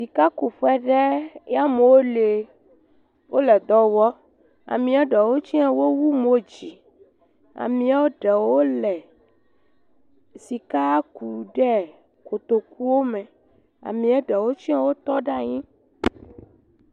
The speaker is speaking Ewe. Sikakuƒe ɖe, ya amewo le. Wole dɔ wɔ. Ameɛ ɖewo tsɛ, wowu mod zi. Ameɛ ɛewo le sika ku ɖɛɛ kotokuwo me. Ameɛ ɖewo tsɛ wotɔ ɖe anyi.